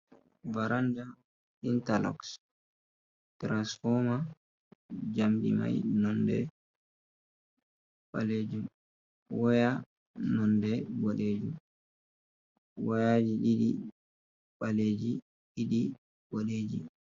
Baranda intaloks tiransfoma jamdi mai nonde ɓalejum, waya nonde boɗejum , wayaji ɗiɗi baleji ɗiɗi boɗeji.